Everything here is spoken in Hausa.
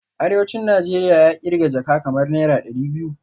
Arewacin Najeriya ya kirga jaka kamar naira dari biyu